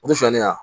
O tɛ sɔn ne ma